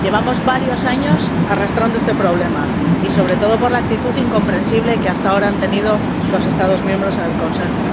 Llevamos varios años arrastrando este problema, sobre todo por la actitud incomprensible que hasta ahora han tenido los Estados miembros en el Consejo.